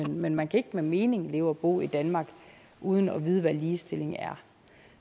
men man kan ikke med mening leve og bo i danmark uden at vide hvad ligestilling er